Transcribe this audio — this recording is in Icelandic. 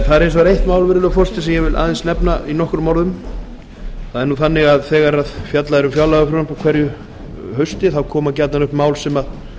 það er hins vegar eitt mál virðulegur forseti sem ég vil aðeins tæpa á þegar fjallað er um fjárlagafrumvarpið á hverju hausti koma gjarnan upp mál sem